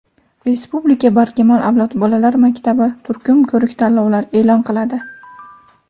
Respublika "Barkamol avlod" bolalar maktabi turkum ko‘rik-tanlovlar e’lon qiladi!.